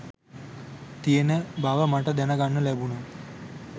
තියෙන බව මට දැන ගන්න ලැබුණා